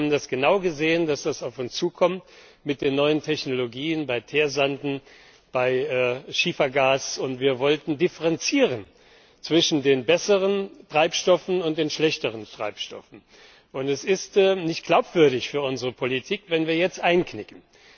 Wir haben das genau gesehen, dass das auf uns zukommt mit den neuen Technologien bei Teersanden, bei Schiefergas und wir wollten differenzieren zwischen den besseren Treibstoffen und den schlechteren Treibstoffen. Es ist nicht glaubwürdig für unsere Politik, wenn wir jetzt einknicken.